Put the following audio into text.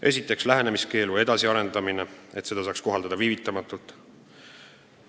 Esiteks, lähenemiskeelu edasiarendamine, et seda saaks kohaldada viivitamatult.